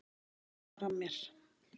Hvað var að mér?